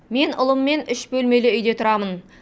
мен ұлыммен үш бөлмелі үйде тұрамын